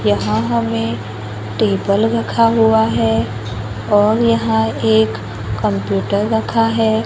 यहाँ हमें टेबल रखा हुआ है और यहाँ एक कंप्यूटर रखा है।